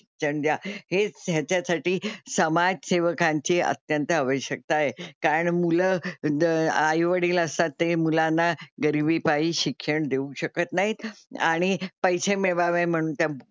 शिक्षण द्या. हेच ह्याच्यासाठी समाजसेवकांची अत्यंत आवश्यकता आहे, कारण मुलं आई वडील असतात ते मुलांना गरिबीपायी शिक्षण देऊ शकत नाहीत आणि पैसे मिळवावे म्हणून त्या,